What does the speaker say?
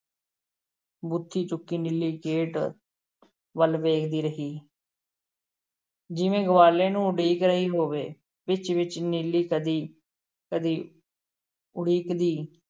ਬੂਥੀ ਚੁੱਕੀ ਨੀਲੀ gate ਵੱਲ ਵੇਖਦੀ ਰਹੀ ਜਿਵੇ ਗਵਾਲੇ ਨੂੰ ਉਡੀਕ ਰਹੀ ਹੋਵੇ, ਵਿੱਚ-ਵਿੱਚ ਨੀਲੀ ਕਦੀ-ਕਦੀ ਉੜੀਕਦੀ